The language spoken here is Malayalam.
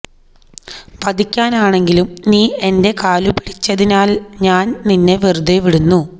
വധിക്കാനെങ്കിലും നീ എന്റെ കാലുപിടിച്ചതിനാല് ഞാന് നിന്നെ വെറുതെ വിടുന്നു